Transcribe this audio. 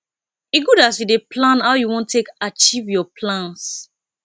e good as you dey plan how you wan take achieve your plans